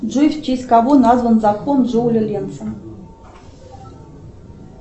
джой в честь кого назвал закон джоуля ленца